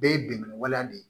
Bɛɛ ye bɛnkan waleya de ye